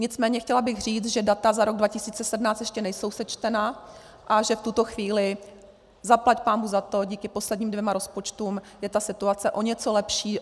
Nicméně chtěla bych říct, že data za rok 2017 ještě nejsou sečtena a že v tuto chvíli, zaplať pánbůh za to, díky posledním dvěma rozpočtům je ta situace o něco lepší.